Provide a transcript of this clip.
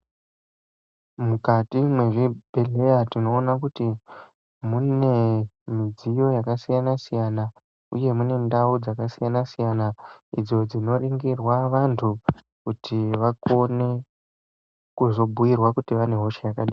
Mukati mezvibhedhleya tinoone kuti mune midziyo yakasiyana siyana, uye mune ndau dzakasiyana siyana idzo dzinoningirwa vantu kuti vakone kuzobhuirwa kuti vane hosha yakadini.